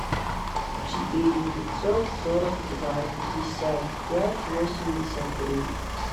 четыре пятьсот сорок два пятьдесят пять восемьдесят три